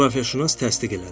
Coğrafiyaşünas təsdiq elədi.